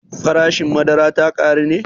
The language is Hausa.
Farashin madara ta ƙaru ne?